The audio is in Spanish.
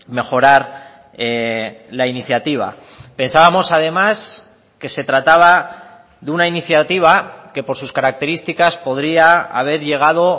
mejorar la iniciativa pensábamos además que se trataba de una iniciativa que por sus características podría haber llegado